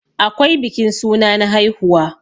akwai bikin suna na haihuwa